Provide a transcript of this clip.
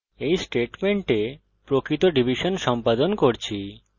এই স্টেটমেন্টে আমরা প্রকৃত ডিভিশন সম্পাদন করছি